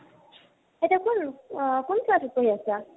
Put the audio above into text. এতিয়া কোন আহ কোন class ত পঢ়ি আছা?